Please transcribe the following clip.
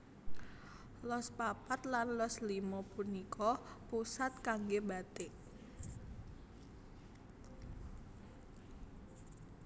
Los papat lan los limo punika pusat kanggé batik